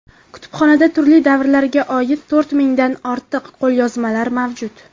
Kutubxonada turli davrlarga oid to‘rt mingdan ortiq qo‘lyozmalar mavjud.